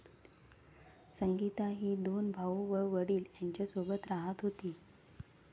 संगीता ही दोन भाऊ व वडील यांच्यासोबत राहत होती.